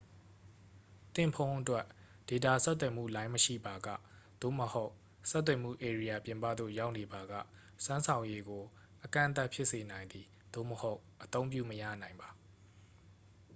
သင့်ဖုန်းအတွက် ဒေတာဆက်သွယ်မှုလိုင်းမရှိပါက သို့မဟုတ် ဆက်သွယ်မှုဧရိယာပြင်ပသို့ ရောက်နေပါက စွမ်းဆောင်ရည်ကို အကန့်အသတ်ဖြစ်စေနိုင်သည် သို့မဟုတ် အသုံးပြုမရနိုင်ပါ